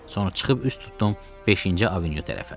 Sonra çıxıb üz tutdum beşinci avenyu tərəfə.